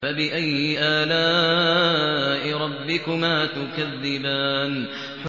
فَبِأَيِّ آلَاءِ رَبِّكُمَا تُكَذِّبَانِ